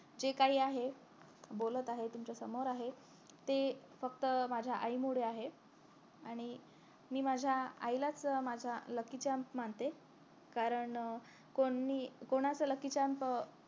जे काही आहे बोलत आहे तुमच्या समोर आहे ते फक्त माझ्या आई मुळे आहे आणि मी माझ्या आईलाच माझ्या lucky charm मानते कारण कोणी कोणाचं lucky charm जाम